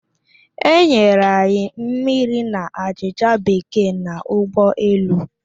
E nyere anyi mmiri na achịchạ Bekee n'ụgbọ elu.